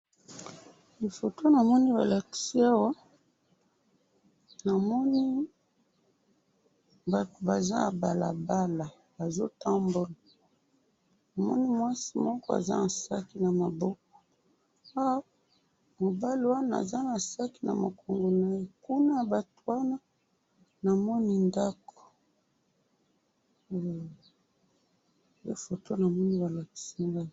Foto namoni balakisi ngayi, namoni batu baza na balabala, bazo tambola, namoni mwasi moko aza na sac namaboko, mubali wana aza na sac namukongo naye, kuna yabatu wana namoni ndako, hum, nde foto namoni balakisi ngayi.